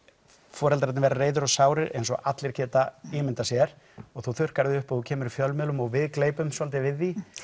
foreldrarnir verða reiðir og sárir eins og allir geta ímyndað sér og þú þurrkar þig upp og kemur í fjölmiðlum og við gleypum svolítið við því